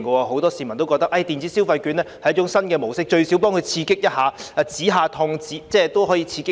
很多市民皆覺得電子消費券是一種新模式，最少可以刺激一下經濟、止一下痛，給他們一些幫助。